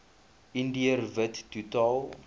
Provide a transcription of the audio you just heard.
indiër wit totaal